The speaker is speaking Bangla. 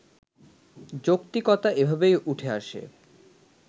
যৌক্তিকতা এভাবেই উঠে আসে